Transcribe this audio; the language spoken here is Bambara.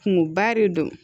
Kungoba de don